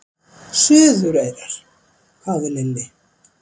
Suðureyrar? hváði Lilli.